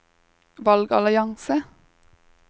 valgallianse